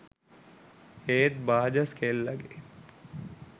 ඒත් බාජස් කෙල්ලගේ